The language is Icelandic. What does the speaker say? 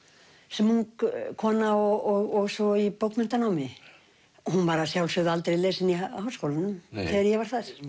sem ung kona og svo í bókmenntanámi hún var að sjálfsögðu aldrei lesin í Háskólanum þegar ég var þar